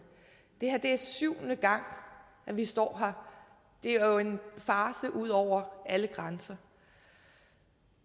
det er syvende gang vi står her det er jo en farce ud over alle grænser